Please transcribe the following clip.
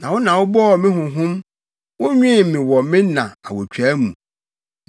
Na wo na wobɔɔ me honhom wonwen me wɔ me na awotwaa mu.